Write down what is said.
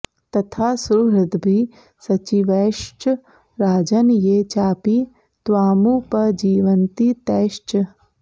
तथा सुहृद्भिः सचिवैश्च राजन् ये चापि त्वामुपजीवन्ति तैश्च